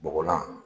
Bɔgɔlan